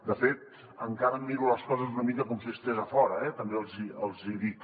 de fet encara miro les coses una mica com si estigués a fora eh també els hi dic